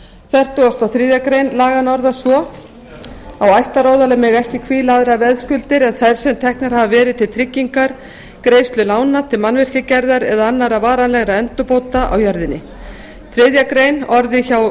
fertugustu og þriðju grein laganna orðast svo á ættaróðali mega ekki hvíla aðrar veðskuldir en þær sem teknar hafa verið til tryggingar greiðslu lána til mannvirkjagerðar eða annarra varanlegra endurbóta á jörðinni þriðju grein orðin hjá